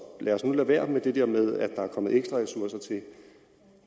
lad os nu lade være med det der med at der er kommet ekstra ressourcer til